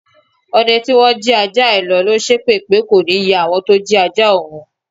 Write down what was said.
Ọdẹ tí wọ́n jí ajá ẹ lọ̀ ló ń ṣépè pé kò ní yẹ àwọn tó jí ajá òun.